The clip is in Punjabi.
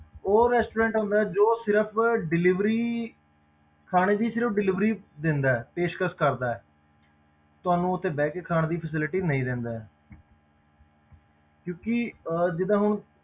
ਉਹ restaurant ਹੁੰਦੇ ਆ ਜੋ ਸਿਰਫ਼ delivery ਖਾਣੇ ਦੀ ਸਿਰਫ਼ delivery ਦਿੰਦਾ ਹੈ, ਪੇਸ਼ਕਸ਼ ਕਰਦਾ ਹੈ ਤੁਹਾਨੂੰ ਉੱਥੇ ਬਹਿ ਕੇ ਖਾਣ ਦੀ facility ਨਹੀਂ ਦਿੰਦਾ ਹੈ ਕਿਉਂਕਿ ਅਹ ਜਿੱਦਾਂ ਹੁਣ